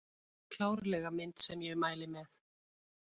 Klárlega mynd sem ég mæli með